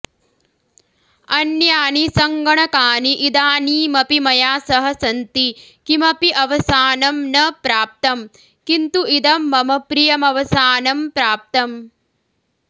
अन्यानि सङ्गणकानि इदानीमपि मया सह सन्ति किमपि अवसानं न प्राप्तम् किन्तु इदं मम प्रियमवसानं प्राप्तम्